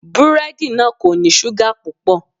Búrẹ́dì náà kò ní ṣúgà púpọ̀.